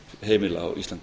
heimila á íslandi